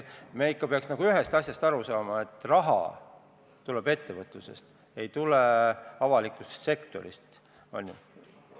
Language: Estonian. Me peaks ikka ühest asjast aru saama: raha tuleb ettevõtlusest, see ei tule avalikust sektorist!